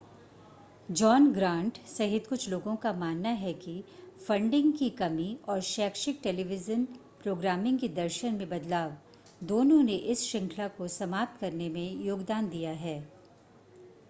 John Grant सहित कुछ लोगों का मानना है कि फंडिंग की कमी और शैक्षिक टेलीविज़न प्रोग्रामिंग के दर्शन में बदलाव दोनों ने इस श्रृंखला को समाप्त करने में योगदान दिया है